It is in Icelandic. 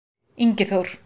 Ingi Þór-